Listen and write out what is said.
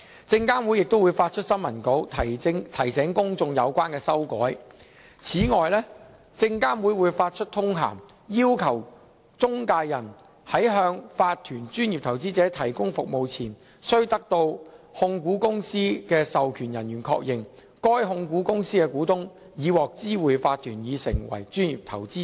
證監會亦會發出新聞稿，提醒公眾有關修改。此外，證監會會發出通函，要求中介人在向法團專業投資者提供服務前，須得到控股公司的授權人員確認，該控股公司的股東已獲知會法團已成為專業投資者。